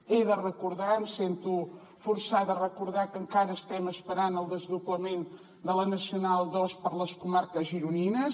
he de recordar em sento forçada a recordar que encara estem esperant el desdoblament de la nacional ii per les comarques gironines